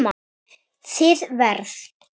Þið verð